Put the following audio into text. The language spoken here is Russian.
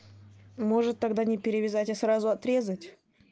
может тогда не перевязать а сразу отрезать